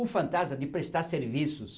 O fantasma de prestar serviços